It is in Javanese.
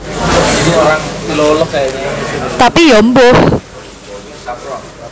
Tapi Ya mbuh